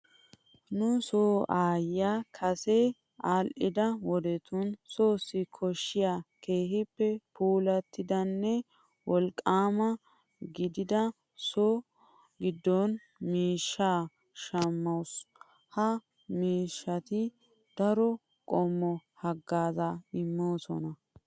Nu soo aayyiya kase aadhdhida wodetun soossi koshshiya keehippe puullatidanne woliqqaama gidida so giddo miishshaa shammaasu. Ha miishshati daro qommo haggaazza immoosona.